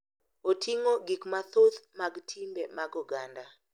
Oting’o gik mathoth mag timbe mag oganda,